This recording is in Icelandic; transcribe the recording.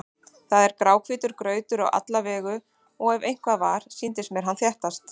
Það var gráhvítur grautur á alla vegu og ef eitthvað var, sýndist mér hann þéttast.